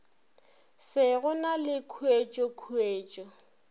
se go na le khuetšokhuetšo